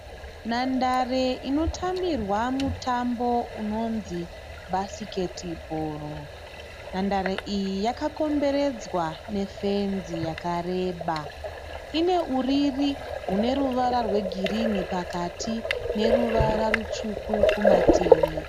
Nhandare inotambirwa mutambo unonzi bhasiketi bhoro. Nhandare iyi yakakomberedzwa nefenzi yakareba. Ine uriri hune ruvara rwegirinhi pakati neruvara rutsvuku kumativi.